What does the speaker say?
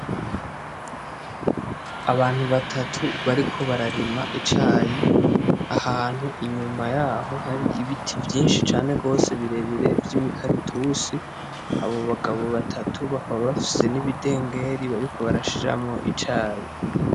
Abantu batatu bariko bararima icayi ahantu, inyuma yaho hari ibiti vyinshi cane gose birebire vy'imikaratusi, abo bagabo batatu bakaba bafise n'ibidengeri bariko barashiramwo icayi.